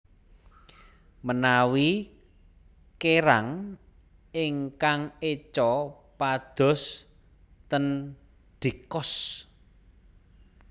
Menawi kerang ingkang eco padhos ten D'Cost